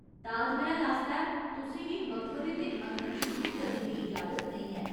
ताजमैह्‌ल आस्तै, तुसें गी मकबरे दे अंदर शूटिंग करने दी इजाजत नेईं ऐ।